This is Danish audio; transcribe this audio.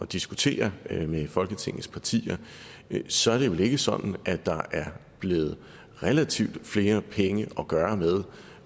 diskutere med folketingets partier så er det vel ikke sådan at der er blevet relativt flere penge at gøre godt med